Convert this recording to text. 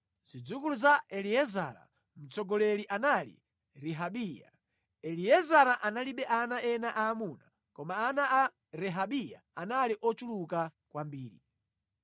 Zidzukulu za Eliezara: Mtsogoleri anali Rehabiya. Eliezara analibe ana ena aamuna, koma ana a Rehabiya anali ochuluka kwambiri.